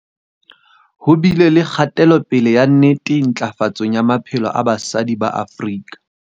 Ho bile le kgatelopele ya nnete ntlafatsong ya maphelo a basadi ba Afrika.